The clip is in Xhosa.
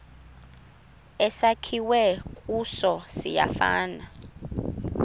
esakhiwe kuso siyafana